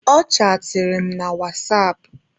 Ọ chaatịrị m na wasapụ.